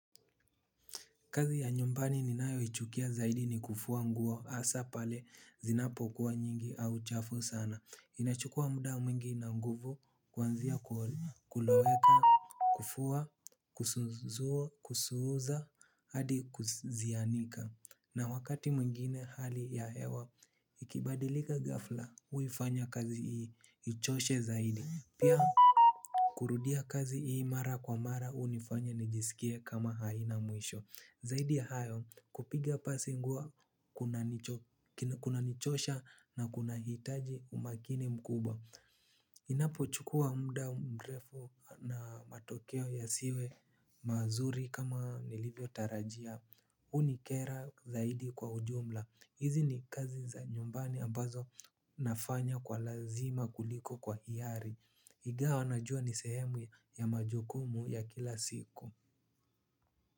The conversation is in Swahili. Kazi ya nyumbani ninayo ichukia zaidi ni kufua nguo hasa pale zinapo kuwa nyingi au chafu sana. Inachukua muda mwingi na nguvu, kuanzia kuloweka, kufua, kusuuza, hadi kuzianika. Na wakati mwingine hali ya hewa, ikibadilika ghafla, huifanya kazi hii, ichoshe zaidi. Pia kurudia kazi hii mara kwa mara, hunifanya nijisikie kama haina mwisho. Zaidi ya hayo kupiga pasi nguo kuna nichosha na kuna hitaji umakini mkubwa. Inapo chukua muda mrefu na matokeo yasiwe mazuri kama nilivyo tarajia hunikera zaidi kwa ujumla. Hizi ni kazi za nyumbani ambazo nafanya kwa lazima kuliko kwa hiari ingawa najua nisehemu ya majukumu ya kila siku.